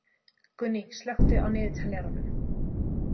Gunný, slökktu á niðurteljaranum.